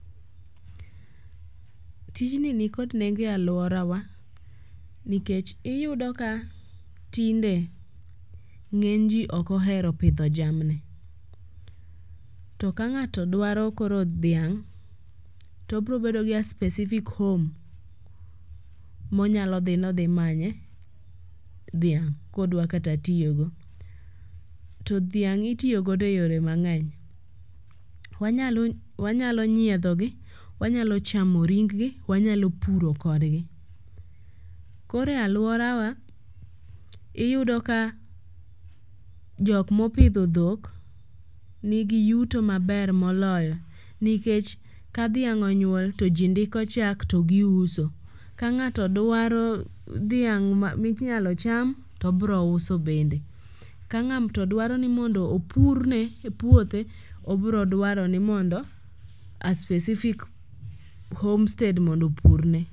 Tijni nikod nengo e alworawa nikech iyudo ka tinde ng'eny ji ok ohero pidho jamni, to ka ng'ato dwaero koro dhiang' to obrobedo gi a specific home monyalo dhi nodhimanye dhiang' kodwa kata tiyogo. To dhiang' itiyogo e yore mang'eny, wanyalo nyiedhogi, wanyalo chamo ringgi, wanyalo puro kodgi. Koro e alworawa, iyudo ka jokmopidho dhok nigi yuto maber moloyo nikech ka dhiang' onyuol to ji ndiko chak to giuso, ka ng'ato dwaro dhiang' minyalo cham tobrouso bende, ka ng'ato dwaro ni mondo opurne puothe obrodwaro ni mondo a specific homestead mondo opurne.